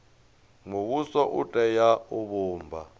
muvhuso u tea u vhumba